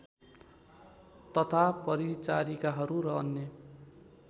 तथा परिचारिकाहरू र अन्य